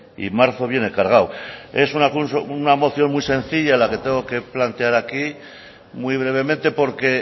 y marzo viene cargado es una moción muy sencilla la que tengo que plantear aquí muy brevemente porque